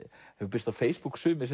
birst á Facebook sumir